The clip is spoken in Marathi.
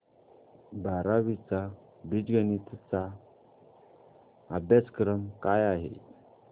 बारावी चा बीजगणिता चा अभ्यासक्रम काय आहे